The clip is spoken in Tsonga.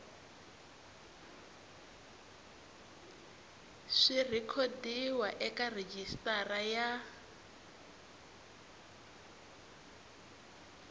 swi rhekhodiwa eka rejistara ya